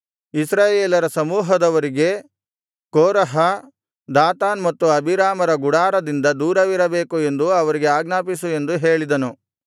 ಇಸ್ರಾಯೇಲರ ಸಮೂಹದವರಿಗೆ Korah Dathan ಮತ್ತು ಅಬೀರಾಮರ ಗುಡಾರದಿಂದ ದೂರವಿರಬೇಕು ಎಂದು ಅವರಿಗೆ ಆಜ್ಞಾಪಿಸು ಎಂದು ಹೇಳಿದನು